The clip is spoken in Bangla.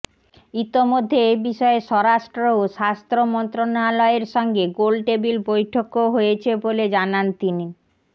ইতোমধ্যে এ বিষয়ে স্বরাষ্ট্র ও স্বাস্থ্য মন্ত্রণালয়ের সঙ্গে গোলটেবিল বৈঠকও হয়েছে বলেও জানান তিনি